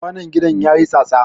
Kwanon gidan ya yi tsatsa.